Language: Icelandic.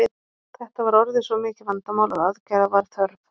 þetta var orðið svo mikið vandamál að aðgerða var þörf